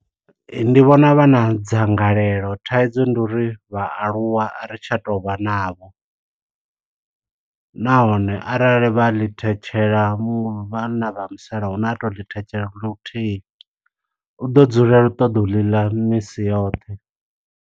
Ndi vhona vha na dzangalelo, thaidzo ndi uri vha aluwa ari tsha to vha navho. Nahone arali vha ḽi thetshela, vhanna vha musalauno a to ḽi thetshelesa luthihi, u ḓo dzulela u ṱoḓa u ḽi ḽa misi yoṱhe.